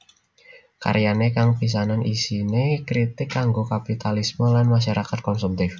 Karyane kang pisanan isine kritik kanggo kapitalisme lan masyarakat konsumtif